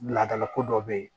Ladala ko dɔ bɛ ye